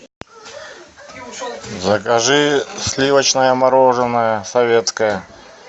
закажи сливочное мороженое советское